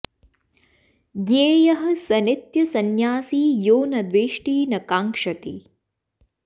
ज्ञेयः स नित्य संन्यासी यो न द्वेष्टि न कांक्षति